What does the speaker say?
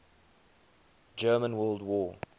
german world war